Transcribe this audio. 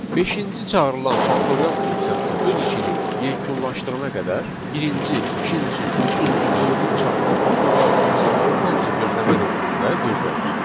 Beşinci çağırılan faktorial funksiyası öz işini yekunlaşdırana qədər birinci, ikinci, üçüncü, dördüncü çağırılan faktorial funksiyaları hamısı gözləmə rejimində gözləyir.